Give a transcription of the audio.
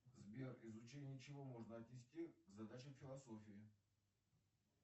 сбер изучение чего можно отнести к задачам философии